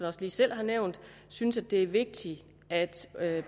også lige selv har nævnt synes at det er vigtigt at